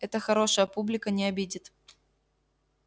это хорошая публика не обидит